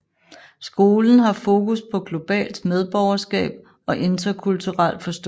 Skolen har fokus på globalt medborgerskab og interkulturel forståelse